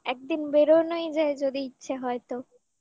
হ্যাঁ একদিন বেরোনোই যে যদি ইচ্ছে হয় তো